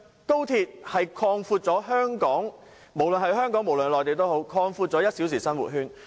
高鐵會為香港和內地擴闊1小時生活圈。